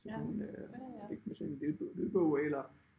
Så kan hun ligge med sin lydbog eller